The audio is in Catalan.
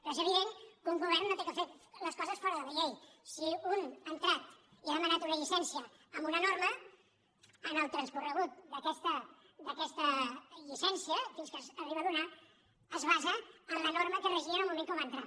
però és evident que un govern no ha de fer les coses fora de la llei si un ha entrat i ha demanat una llicència amb una norma en el transcurs d’aquesta llicència fins que s’arriba a donar es basa en la norma que regia en el moment que va entrar